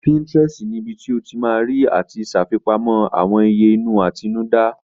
Pinterest ni ibi tí o ti ma rí àti ṣàfipamọ́ àwọn ìyè inú àtinúdá